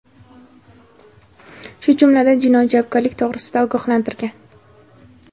shu jumladan jinoiy javobgarlik to‘g‘risida ogohlantirgan.